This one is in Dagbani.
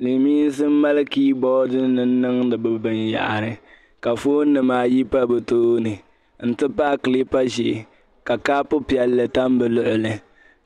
Silimiinsi m-mali kiiboordinima n-niŋdi bɛ binyɛhari ka foonnima ayi pa bɛ tooni nti pahi kiliipa ʒee ka kopu piɛlli tam bɛ luɣili